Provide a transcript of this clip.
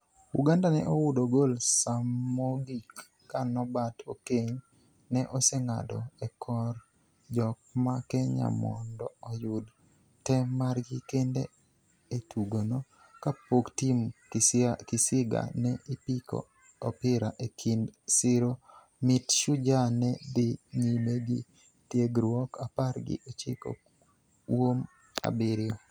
Uganda ne oudo gol samogik ka Nobert Okeny ne oseng'ado e kor jok ma Kenya mondo oyud tem margi kende e tugono kapok Tim Kisiga ne ipiko opira e kind siro mit Shujaa ne dhi nyime gi tiegruok apar gi ochiko uom abiriyo.